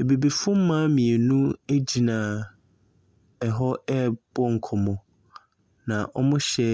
Abibifo mmaa mmienu agyina ɛhɔ, ɛrebɔ nkɔmmɔ. Na wɔhyɛ